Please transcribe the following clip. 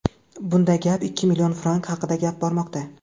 Bunda gap ikki million frank haqida bormoqda.